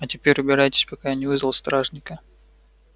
а теперь убирайтесь пока я не вызвал стражника